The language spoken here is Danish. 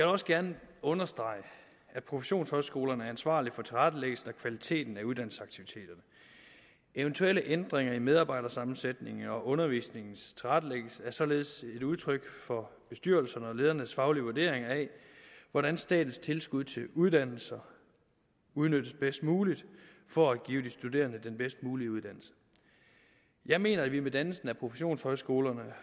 også gerne understrege at professionshøjskolerne er ansvarlige for tilrettelæggelsen og kvaliteten af uddannelsesaktiviteterne eventuelle ændringer i medarbejdersammensætningen og undervisningens tilrettelæggelse er således et udtryk for bestyrelsernes og ledernes faglige vurdering af hvordan statens tilskud til uddannelser udnyttes bedst muligt for at give de studerende den bedst mulige uddannelse jeg mener at vi med dannelsen af professionshøjskolerne